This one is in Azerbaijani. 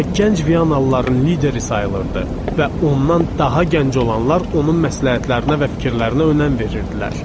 Amma gənc Viyanalıların lideri sayılırdı və ondan daha gənc olanlar onun məsləhətlərinə və fikirlərinə önəm verirdilər.